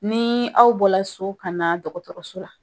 Ni aw bɔra so ka na dɔgɔtɔrɔso la